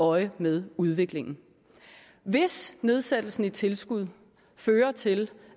øje med udviklingen hvis nedsættelsen i tilskud fører til